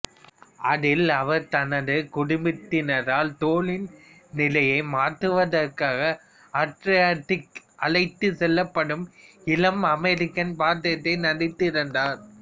அதில் அவர் தனது குடும்பத்தினரால் தோலின் நிலையை மாற்றுவதற்காக அட்ரியாடிக் அழைத்துச் செல்லப்படும் இளம் அமெரிக்கன் பாத்திரத்தில் நடித்திருந்தார்